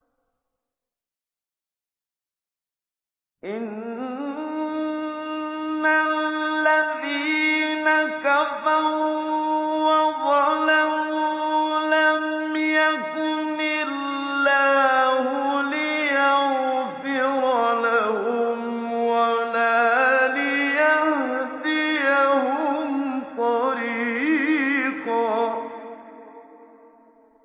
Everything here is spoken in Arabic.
إِنَّ الَّذِينَ كَفَرُوا وَظَلَمُوا لَمْ يَكُنِ اللَّهُ لِيَغْفِرَ لَهُمْ وَلَا لِيَهْدِيَهُمْ طَرِيقًا